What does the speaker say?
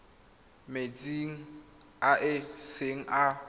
metsing a e seng a